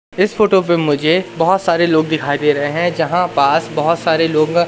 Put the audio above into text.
इस फोटो पे मुझे बहोत सारे लोग दिखाई दे रहे हैं जहां पास बहोत सारे लोग--